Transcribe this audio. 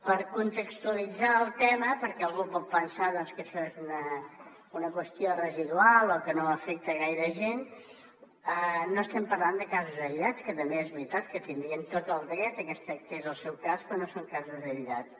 per contextualitzar el tema perquè algú pot pensar doncs que això és una qüestió residual o que no afecta gaire gent no estem parlant de casos aïllats que també és veritat que tindrien tot el dret de que es tractés el seu cas però no són casos aïllats